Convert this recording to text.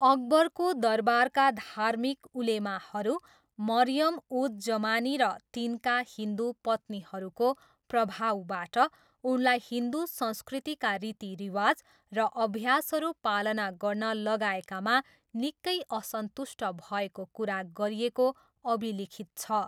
अकबरको दरबारका धार्मिक उलेमाहरू मरियम उज जमानी, र तिनका हिन्दु पत्नीहरूको प्रभावबाट उनलाई हिन्दु संस्कृतिका रीतिरिवाज र अभ्यासहरू पालना गर्न लगाएकामा निकै असन्तुष्ट भएको कुरा गरिएको अभिलिखित छ।